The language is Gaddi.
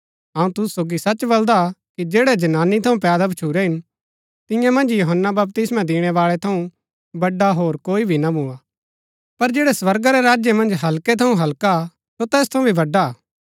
अऊँ तुसु सोगी सच बलदा कि जैड़ै जनानी थऊँ पैदा भच्छुरै हिन तियां मन्ज यूहन्‍ना बपतिस्मा दिणैबाळै थऊँ बड़ा होर कोई भी ना भुआ पर जैड़ै स्वर्गा रै राज्य मन्ज हल्कै थऊँ हल्का हा सो तैस थऊँ भी बड़ा हा